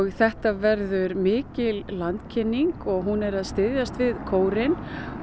þetta verður mikil landkynning og hún er að styðjast við kórinn